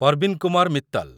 Parveen Kumar Mittal